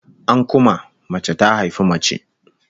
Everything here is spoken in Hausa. An kuma, mace ta haifi mace